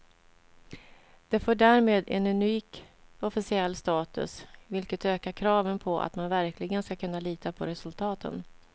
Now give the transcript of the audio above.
Det får därmed en unik officiell status, vilket ökar kraven på att man verkligen ska kunna lita på resultaten.